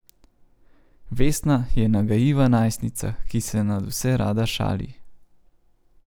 Vesna je nagajiva najstnica, ki se nadvse rada šali.